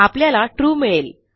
आपल्याला ट्रू मिळेल